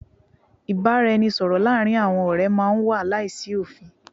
Ìbáraẹnisọ̀rọ̀ láàárín àwọn ọ̀rẹ́ máà ń wà láìsí òfin.